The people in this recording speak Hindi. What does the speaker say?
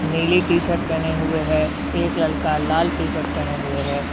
नीली टी शर्ट पहने हुए है एक लड़का लाल शर्ट पहने हुए है।